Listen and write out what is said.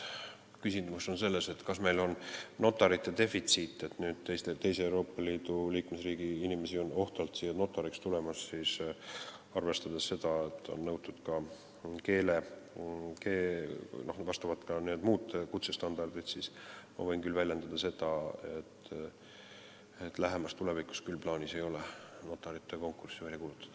Kui küsimus on selles, kas meil on notarite defitsiit, et nüüd teise Euroopa Liidu liikmesriigi inimesi on ohtralt siia notariks tulemas, siis arvestades seda, et kehtivad ka keele- ja muud kutsestandardid, siis ma võin küll öelda, et lähemas tulevikus ei ole plaanis notarite konkurssi välja kuulutada.